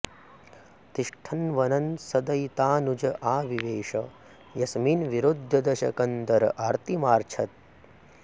तिष्ठन् वनं सदयितानुज आविवेश यस्मिन् विरुध्य दशकन्धर आर्तिमार्च्छत्